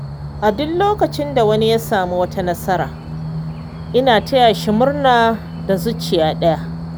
A duk lokacin da wani ya samu wata nasara, ina taya shi murna da zuciya ɗaya.